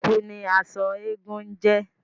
Ẹ̀kú ni aṣọ eégún ń jẹ́